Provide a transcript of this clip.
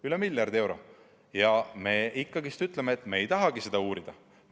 Üle miljardi euro, aga me ütleme, et me ei tahagi seda uurida.